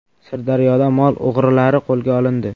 Sirdaryoda mol o‘g‘rilari qo‘lga olindi.